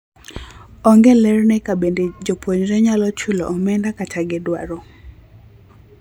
Onge ler ne kabende jopuonjre nyalo chulo omenda kata gidwaro